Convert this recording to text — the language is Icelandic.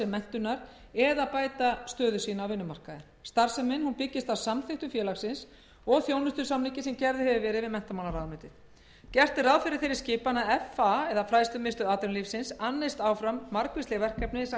menntunar eða bæta stöðu sína á vinnumarkaði starfsemin byggist á samþykktum félagsins og þjónustusamningi sem gerður hefur verið við menntamálaráðuneytið gert er ráð fyrir þeirri skipan að fa annist áfram margvísleg verkefni samkvæmt